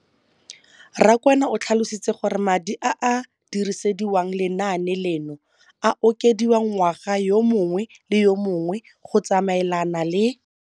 Rakwena o tlhalositse gore madi a a dirisediwang lenaane leno a okediwa ngwaga yo mongwe le yo mongwe go tsamaelana le